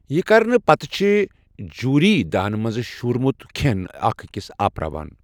یہِ کرنہٕ پتہٕ چھِ جوٗرۍ دانہٕ منٛزٕ شوٗرمت کھٮ۪ن اکھ أکِس آپراوان۔